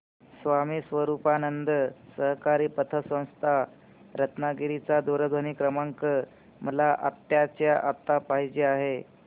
स्वामी स्वरूपानंद सहकारी पतसंस्था रत्नागिरी चा दूरध्वनी क्रमांक मला आत्ताच्या आता पाहिजे आहे